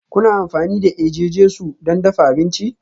Kuna amfani da eje-jesu don dafa abinci?